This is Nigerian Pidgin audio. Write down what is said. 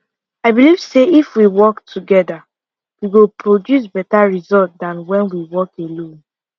i believe say if we work toggther we go produce better result than when we work alone